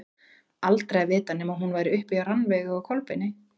Aldrei að vita nema hún væri uppi hjá Rannveigu og Kolbeini.